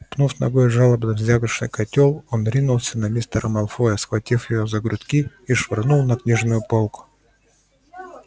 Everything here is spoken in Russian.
пнув ногой жалобно звякнувший котёл он ринулся на мистера малфоя схватил его за грудки и швырнул на книжную полку